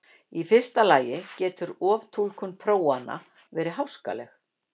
í fyrsta lagi getur oftúlkun prófanna verið háskaleg